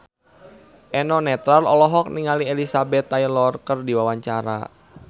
Eno Netral olohok ningali Elizabeth Taylor keur diwawancara